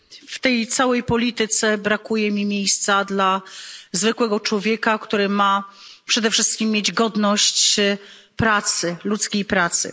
W tej całej polityce brakuje mi miejsca dla zwykłego człowieka, który ma przede wszystkim mieć godność pracy, ludzkiej pracy.